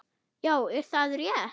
Já, er það rétt?